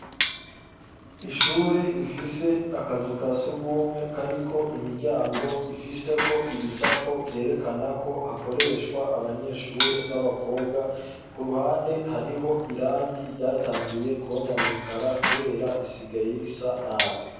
Ishure rifise akazu kasugumwe kariko imiryango ifiseko ibicapo vyerekana ko hakoreshwa abanyeshure baba kobwa ku ruhande hariho irangi ryatanguye kononekara kubera risigaye risa nabi.